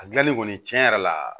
A gilanli kɔni tiɲɛ yɛrɛ la